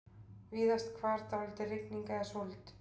Víðast hvar dálítil rigning eða súld